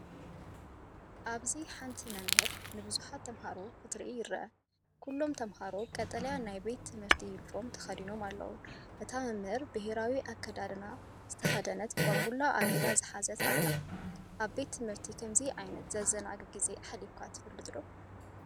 ኣብዚ ሓንቲ መምህር ንብዙሓት ተምሃሮ ክተርኢ ይርአ። ኩሎም ተምሃሮ ቀጠልያ ናይ ቤት ትምህርቲ ዩኒፎርም ተኸዲኖም ኣለዉ። እታ መምህር ሕብራዊ ኣከዳድና ዝተኸድነት ቧንቡላ ኣብ ኢዳ ሒዛ ኣላ። ኣብ ቤት ትምህርቲ ከምዚ ዓይነት ዘዘናግዕ ግዜ ኣሕሊፍካ ትፈልጥ ዲኻ?